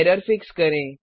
error fix करें